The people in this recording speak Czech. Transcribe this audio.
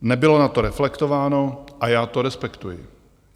Nebylo na to reflektováno a já to respektuji.